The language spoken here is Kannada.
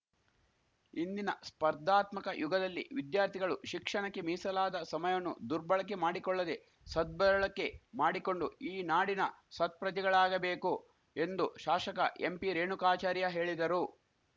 ಇಂದಿನ ಸ್ಪರ್ಧಾತ್ಮಕ ಯುಗದಲ್ಲಿ ವಿದ್ಯಾರ್ಥಿಗಳು ಶಿಕ್ಷಣಕ್ಕೆ ಮೀಸಲಾದ ಸಮಯವನ್ನು ದುರ್ಬಳಕೆ ಮಾಡಿಕೊಳ್ಳದೇ ಸದ್ಬಳಕೆ ಮಾಡಿಕೊಂಡು ಈ ನಾಡಿನ ಸತ್ಪ್ರಜೆಗಳಾಗಬೇಕು ಎಂದು ಶಾಶಕ ಎಂಪಿ ರೇಣುಕಾಚಾರ್ಯ ಹೇಳಿದರು